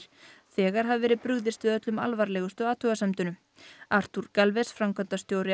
þegar hafi verið brugðist við öllum alvarlegustu athugasemdunum arthur Galvez framkvæmdastjóri